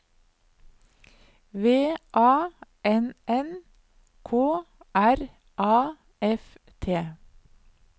V A N N K R A F T